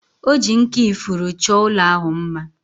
O ji nkà ifuru chọọ ụlọ ahụ mma